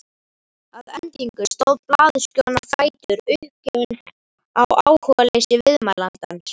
Að endingu stóð blaðurskjóðan á fætur, uppgefin á áhugaleysi viðmælandans.